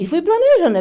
E fui planejando, né?